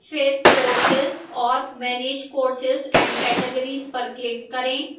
फिर courses और manage courses and categories पर click करें